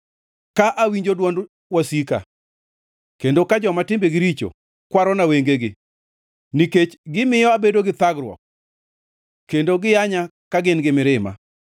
Ka awinjo dwond wasika, kendo ka joma timbegi richo okwarona wengegi, nikech gimiyo abedo gi thagruok kendo giyanya ka gin gi mirima.